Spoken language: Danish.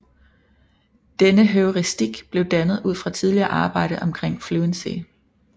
Denne heuristik blev dannet ud fra tidligere arbejde omkring fluency